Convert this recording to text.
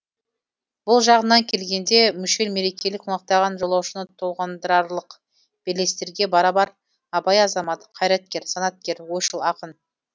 бұл жағынан келгенде мүшел мерекелер қонақтаған жолаушыны толғандырарлық белестерге барабар абай азамат қайраткер санаткер ойшыл ақын